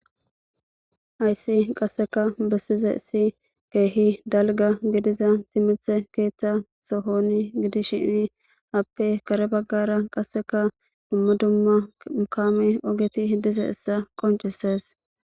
Hayssi qasseka bessizeyissi keehi dalgga gidiza timithe keethta sohoni gidishiini appe kare baggara qasseka dumma dumma m kaame ogeti dizayssa qonccisees.